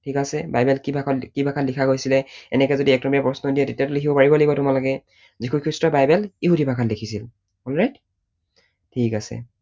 ঠিক আছে? বাইবেল কি ভাষাত কি ভাষাত লিখা গৈছিলে, এনেকৈ যদি এক নম্বৰীয়া প্ৰশ্ন দিয়ে তেতিয়াতো লিখিব পাৰিব লাগিব তোমালোকে। যীশুখ্ৰীষ্টই বাইবেল ইহুদী ভাষাত লিখিছিল। alright?